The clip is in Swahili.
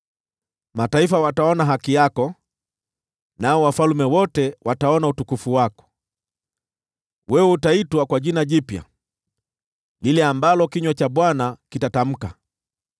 Mataifa wataona haki yako, nao wafalme wote wataona utukufu wako; wewe utaitwa kwa jina jipya lile ambalo kinywa cha Bwana kitatamka.